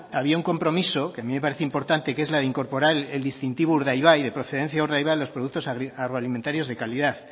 había un compromiso que a mí me parecía importante y que es la de incorporar el distintivo urdaibai de procedencia urdaibai en los productos agroalimentarios de calidad